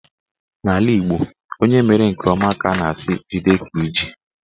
N'ala Igbo, onye mere nke ọma ka a na-asị "jide nke iji"